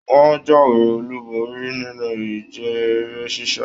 Wọn jáwé olú borí nínú ìje eré sisa.